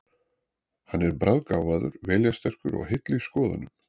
Hann er bráðgáfaður, viljasterkur og heill í skoðunum.